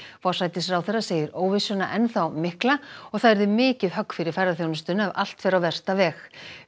forsætisráðherra segir óvissuna enn þá mikla og að það yrði mikið högg fyrir ferðaþjónustuna ef allt fer á versta veg